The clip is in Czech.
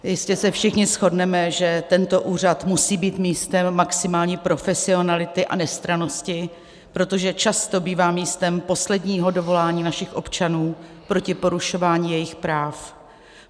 Jistě se všichni shodneme, že tento úřad musí být místem maximální profesionality a nestrannosti, protože často bývá místem posledního dovolání našich občanů proti porušování jejich práv.